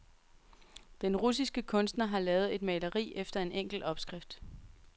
Den russiske kunstner har lavet et maleri efter en enkel opskrift.